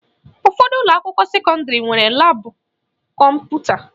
Ụfọdụ ụlọakwụkwọ sekọndịrị nwere laabụ kọmputa